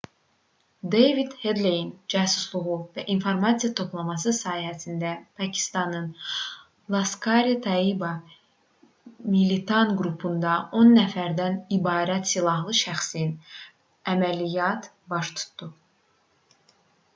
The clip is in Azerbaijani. deyvid hedleyin cəsusluğu və informasiya toplaması sayəsində pakistanın laskhar-e-taiba militan qrupundan 10 nəfərdən ibarət silahlı şəxsin əməliyyat baş tutdu